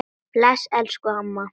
Bless elsku amma.